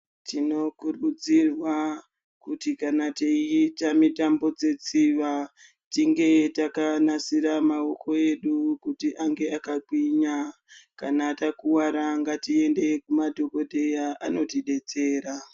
Tinokurudzirwa kuti kana teiita mitambo dzetsiva, tinge takanasira maoko edu kuti ange akagwinya. Kana takuwara tiende kumadhokodheya anotidetsera.